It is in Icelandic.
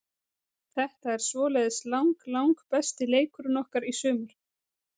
Þetta er svoleiðis lang lang besti leikurinn okkar í sumar.